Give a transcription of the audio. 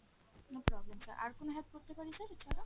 no problem sir, আর কোনো help করতে পারি sir এছাড়া?